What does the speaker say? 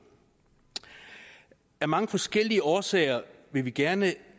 af mange forskellige årsager vil vi gerne